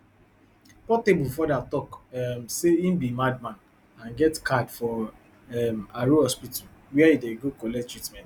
portable further tok um say e be madman and get card for um aro hospital wia e dey go collect treatment